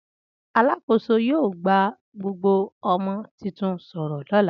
Alakoso yio gba gbogbo ọmọ titun soro lólà